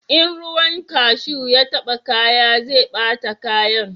In ruwan kashu ya taba kaya zai bata kayan